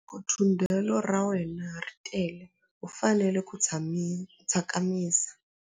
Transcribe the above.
Loko thundelo ra wena ri tele u fanele ku tsakamisa.